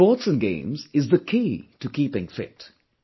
Sports & games is the key to keeping fit